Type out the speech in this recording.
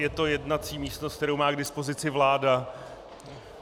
Je to jednací místnost, kterou má k dispozici vláda.